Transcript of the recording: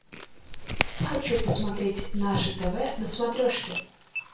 хочу посмотреть наше тв на смотрешке